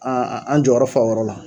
an jɔyɔrɔ fa o yɔrɔ la.